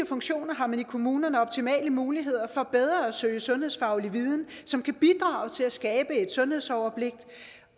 funktioner har man i kommunerne optimale muligheder for bedre at søge sundhedsfaglig viden som kan bidrage til at skabe et sundhedsoverblik